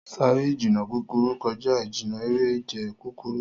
Sáré ìjìnnà kúkúrú kọjá ìjìnnà eré ìje kúkúrú.